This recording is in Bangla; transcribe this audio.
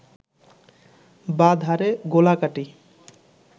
বাঁ ধারে গোলাকাটি